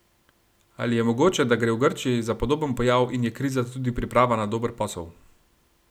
Ali je mogoče, da gre v Grčiji za podoben pojav in je kriza tudi priprava na dober posel?